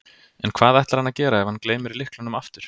En hvað ætlar hann að gera ef hann gleymir lyklunum aftur?